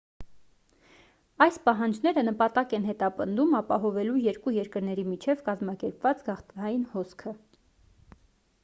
այս պահանջները նպատակ են հետապնդում ապահովելու երկու երկրների միջև կազմակերպված գաղթային հոսքը